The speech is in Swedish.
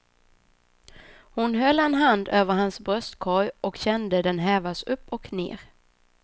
Hon höll en hand över hans bröstkorg och kände den hävas upp och ner.